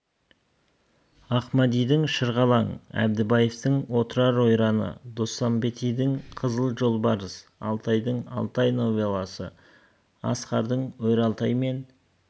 ахмадидің шырғалаң әдібаевтың отырар ойраны доспанбетидің қызыл жолбарыс алтайдың алтай новелласы асқардың өр алтай мен